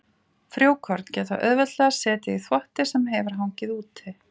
Frjókorn geta auðveldlega setið í þvotti sem hefur hangið úti.